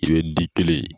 I bɛ di kelen